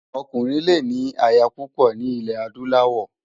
Òkúrin lé ni àyá púpò ni ilè ádúláwò